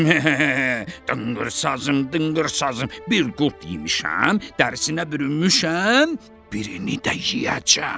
Dınqır sazım, dınqır sazım, bir qurd yemişəm, dərisinə bürünmüşəm, birini də yeyəcəm.